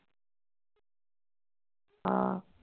ਹਾਂ